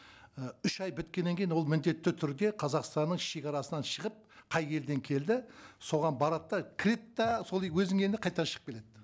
і үш ай біткеннен кейін ол міндетті түрде қазақстанның шегарасынан шығып қай елден келді соған барады да кіреді де сол өзінің елінен қайтадан шығып кетеді